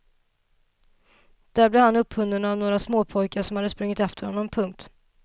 Där blev han upphunnen av några småpojkar som hade sprungit efter honom. punkt